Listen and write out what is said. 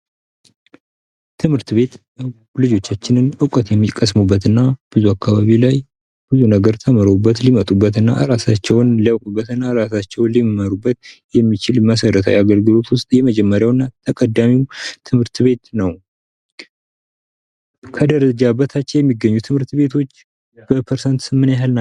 ትምህርት ቤት ልጆጃችን እውቀት የሚቀስሙበት እና ብዙ አካባቢ ላይ ብዙ ነገር ተምረውበት ሊመጡ እና እራሳቸውን ሊያውቁበት እና እራሳቸውን ሊመሩበት የሚችል መሠረታዊ አገልግሎት ውስጥ የመጀመሪያው እና ተቀዳሚው ትምህርት ቤት ነው። ከደረጃ በታች የሚገኙ ትምህርት ቤቶች በፐርሰንት ምን ያህል ናቸው?